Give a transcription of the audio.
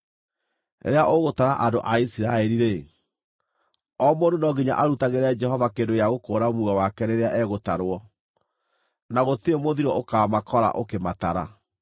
“Rĩrĩa ũgũtara andũ a Isiraeli-rĩ, o mũndũ no nginya arutagĩre Jehova kĩndũ gĩa gũkũũra muoyo wake rĩrĩa egũtarwo. Na gũtirĩ mũthiro ũkaamakora ũkĩmatara.